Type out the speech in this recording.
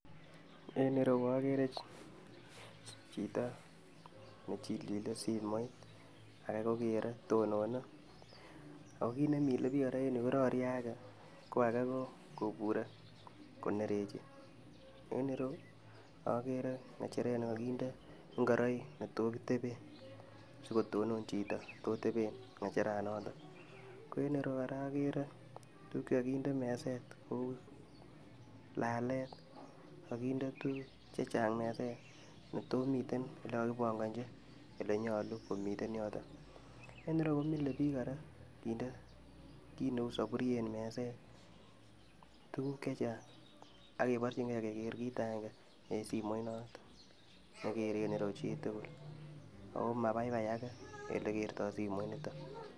En ireyuu okeree chito nechilchilee simoit, akee kokeree tonone, akoo kiit nemile biik en yuu kororie akee ko akee koburee konereche, en ireyuu okeree ng'echeret nekokinde ing'oroik netoo kiteben sikotonon chito netoteben ng'echeranoton, ko en ireyuu kora okeree tukuk chekokindee meset kouu laleet kokinde tukuk chechang nea netomiten chekokibong'ochi elenyolu komiten yoton, en ireyuu komilebik kora kindee kiit neuu soburyet meset, tukuk chechang akeborching'ee kekeer kiit akeng'e kokeree en simoiniton nekeree en yuu chitukul akoo mabaibai akee en elekerto simoiniton.